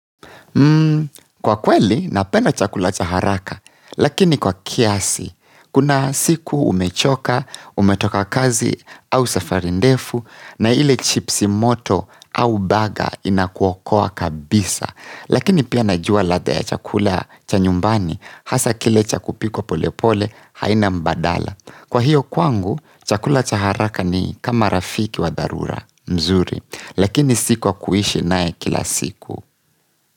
Mmm, kwa kweli napenda chakula cha haraka, lakini kwa kiasi, kuna siku umechoka, umetoka kazi au safari ndefu, na ile chipsi moto au baga inakuokoa kabisa, lakini pia najua ladha ya chakula cha nyumbani, hasa kile cha kupikwa pole pole haina mbadala. Kwa hiyo kwangu, chakula cha haraka ni kama rafiki wa dharura, mzuri, lakini siku kwa kuishi naye kila siku.